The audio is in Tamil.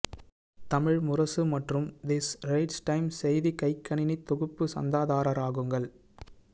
தமிழ் முரசு மற்றும் தி ஸ்ட்ரெய்ட்ஸ் டைம்ஸ் செய்தி கைக்கணினித் தொகுப்பு சந்தாதாரராகுங்கள்